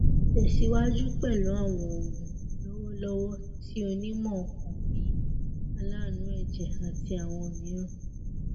tẹsiwaju pẹlu awọn oogun lọwọlọwọ ti onimọ ọkan bi alaanu ẹjẹ ati awọn miiran